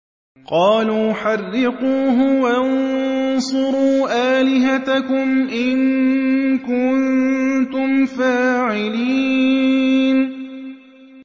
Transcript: قَالُوا حَرِّقُوهُ وَانصُرُوا آلِهَتَكُمْ إِن كُنتُمْ فَاعِلِينَ